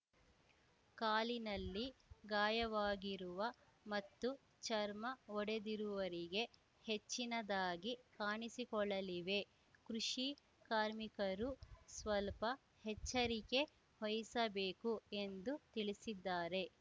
ಕಾಲಿನಲ್ಲಿ ಗಾಯವಾಗಿರುವ ಮತ್ತು ಚರ್ಮ ಒಡೆದಿರುವರಿಗೆ ಹೆಚ್ಚಿನದಾಗಿ ಕಾಣಿಸಿಕೊಳ್ಳಲಿವೆ ಕೃಷಿ ಕಾರ್ಮಿಕರು ಸ್ವಲ್ಪ ಹೆಚ್ಚರಿಕೆ ವಹಿಸಬೇಕು ಎಂದು ತಿಳಿಸಿದ್ದಾರೆ